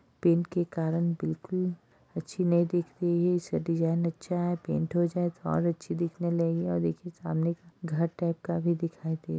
paint के कारण बिल्कुल अच्छी नहीं दिख रही है इससे डिजाइन अच्छा है पेंट हो जाए तो और अच्छी दिखने लगेगी और एक ये सामने का घर टाइप का भी दिखाई दे --